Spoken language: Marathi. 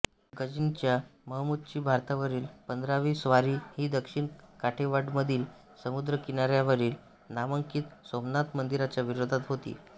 गझनीच्या महमूदची भारतावरील पंधरावी स्वारी ही दक्षिण काठेवाडमधील समुद्रकिनार्यावरील नामांकित सोमनाथ मंदिराच्या विरोधात होती